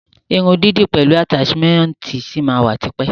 Irun dídì pẹlu ataṣimẹnti ṣi ma wa tipẹ́.